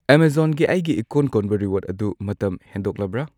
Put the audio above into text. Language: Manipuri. ꯑꯦꯃꯥꯖꯣꯟꯒꯤ ꯑꯩꯒꯤ ꯏꯀꯣꯟ ꯀꯣꯟꯕ ꯔꯤꯋꯥꯔꯗ ꯑꯗꯨ ꯃꯇꯝ ꯍꯦꯟꯗꯣꯛꯂꯕ꯭ꯔꯥ?